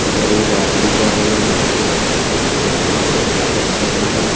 इधर एक आदमी जा रहे हैंजो की ब्लैक कलर का फुल पेंट पहने है।